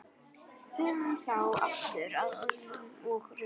Hugum þá aftur að orðum og rökum.